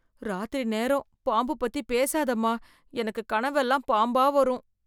ராத்திரி நேரம், பாம்பு பத்தி பேசாதம்மா, எனக்கு கனவெல்லாம் பாம்பா வரும்.